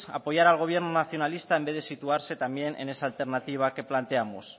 apoyar al gobierno nacionalista en vez de situarse también en esa alternativa que planteamos